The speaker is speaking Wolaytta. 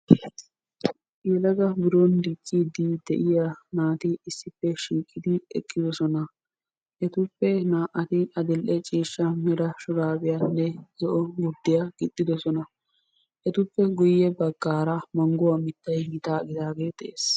Yelaga biron dicciiddi de'iya naati issippe shiiqidi eqqidosona. Etappe naa'ati adill'e ciishsha mera shuraabiyanne gurddiya gixxidosona. Etappe guyye baggaara mangguwa mittayi gitaa gidaagee de'es.